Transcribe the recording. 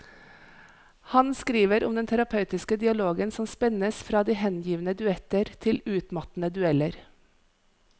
Han skriver om den terapeutiske dialogen som spennes fra de hengivne duetter til utmattende dueller.